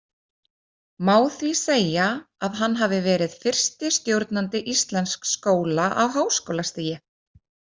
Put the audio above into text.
Má því segja að hann hafi verið fyrsti stjórnandi íslensks skóla á háskólastigi.